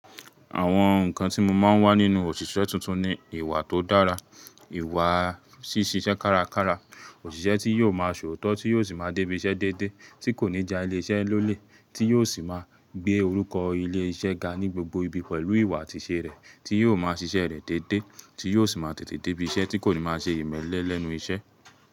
Àwọn ǹkan tí mo máa ń wá nínú òṣìṣẹ́ tuntun ni ìwà tó dára, ìwà ṣíṣiṣẹ́ kárakára, òṣìṣẹ́ tí yóò máa ṣòótọ́, tí yóò sì máa débí iṣẹ́ dédé, tí kò ní já ilé-iṣẹ́ lólè, tí yóò sì máa gbé orúkọ ilé-iṣẹ́ ga ní gbogbo ibi pẹ̀lú ìwà àtisẹ̀ rẹ̀, tí yóò máa ṣiṣẹ́ rẹ̀ dédé, tí yóò sì máa tètè débí iṣẹ́, tí kò ní máa ṣe ìmẹ́lẹ́ lẹ́nu iṣẹ́.